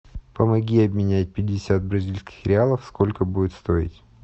помоги обменять пятьдесят бразильских реалов сколько будет стоить